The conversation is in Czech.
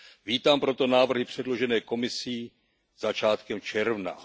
Vítám proto návrhy předložené Komisí začátkem června.